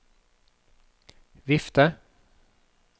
vifte